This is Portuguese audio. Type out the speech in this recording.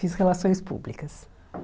Fiz relações públicas.